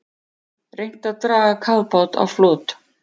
Reynt að draga kafbát á flot